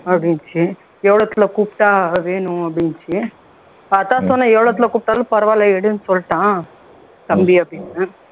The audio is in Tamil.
அப்படினுச்சு எவ்வளவுத்துல கூப்பிட்டா வேணும் அப்படின்னுச்சு அதான் சொன்னேன் எவ்வளவுத்துல கூப்பிட்டாலும் பரவாயில்ல எடுன்னு சொல்லிட்டான் தம்பி அப்படின்னேன்